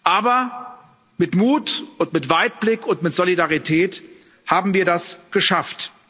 Aber mit Mut und mit Weitblick und mit Solidarität haben wir das geschafft.